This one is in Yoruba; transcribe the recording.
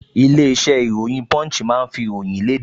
Ilé-iṣẹ́ ìròyìn Punch máa ń fi ìròyìn léde